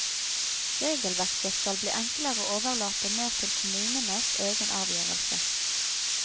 Regelverket skal bli enklere og overlate mer til kommunenes egen avgjørelse.